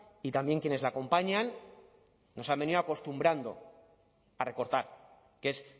y también quienes le acompañan nos han venido acostumbrando a recortar que es